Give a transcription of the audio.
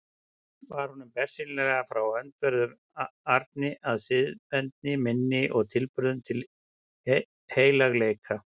Var honum bersýnilega frá öndverðu ami að siðavendni minni og tilburðum til heilagleika.